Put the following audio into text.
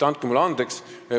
Andke mulle andeks!